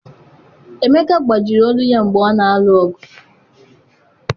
Emeka gbajiri olu ya mgbe ọ na-alụ ọgụ.